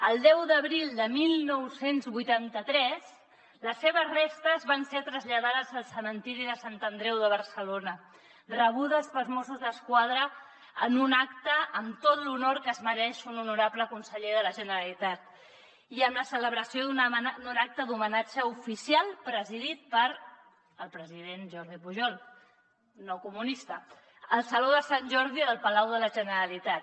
el deu d’abril de dinou vuitanta tres les seves restes van ser traslladades al cementiri de sant andreu de barcelona rebudes pels mossos d’esquadra en un acte amb tot l’honor que es mereix un honorable conseller de la generalitat i amb la celebració d’un acte d’homenatge oficial presidit pel president jordi pujol no comunista al saló de sant jordi del palau de la generalitat